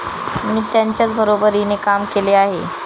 मी त्यांच्याच बरोबरीने काम केले आहे.